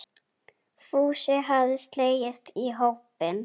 Fúsi hafði slegist í hópinn.